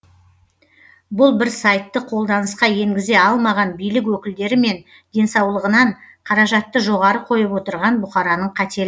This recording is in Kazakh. бұл бір сайтты қолданысқа енгізе алмаған билік өкілдері мен денсаулығынан қаражатты жоғары қойып отырған бұқараның қате